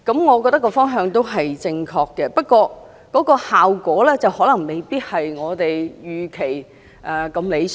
我認為方向是正確的，不過，效果可能未必如我們預期般理想。